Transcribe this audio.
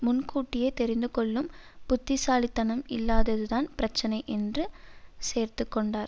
முன்கூட்டியே தெரிந்து கொள்ளும் புத்திசாலித்தனம் இல்லாததுதான் பிரச்சினை என்று சேர்த்து கொண்டார்